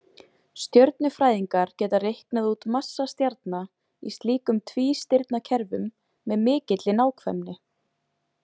Stjörnufræðingar geta reiknað út massa stjarna í slíkum tvístirnakerfum með mikilli nákvæmni.